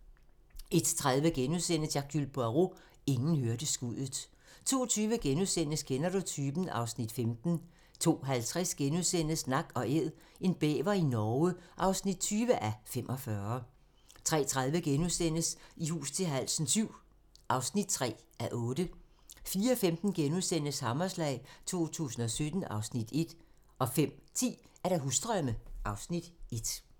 01:30: Hercule Poirot: Ingen hørte skuddet * 02:20: Kender du typen? (Afs. 15)* 02:50: Nak & Æd - en bæver i Norge (20:45)* 03:30: I hus til halsen VII (3:8)* 04:15: Hammerslag 2017 (Afs. 1)* 05:10: Husdrømme (Afs. 1)